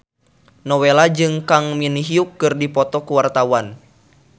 Nowela jeung Kang Min Hyuk keur dipoto ku wartawan